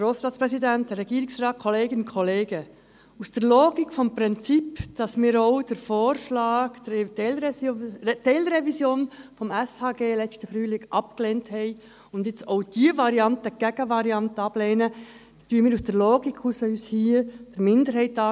Aus der Logik des Prinzips, wonach wir den Vorschlag für eine Teilrevision des SHG im letzten Frühjahr abgelehnt haben, schliessen wir uns hier der Minderheit an.